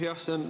Aitäh!